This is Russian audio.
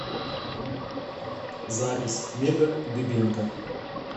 запись мега дыбенко